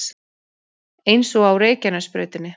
Eins og á Reykjanesbrautinni